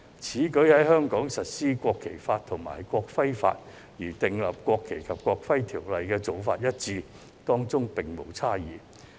此舉一如在香港實施國旗法及國徽法，即與訂立《國旗及國徽條例》的做法一致，當中並無差異。